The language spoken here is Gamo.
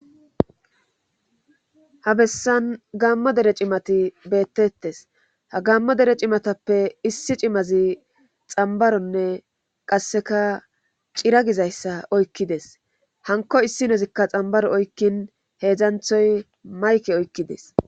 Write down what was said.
ha bessan gammo dere cimati beettettes ha gammo dere cimatappe issi cimazi xambaronne qasseka cira gizayssa oykkides hanko issi nozikka xambaro oykkin heedzdzanthoy mayke oykkides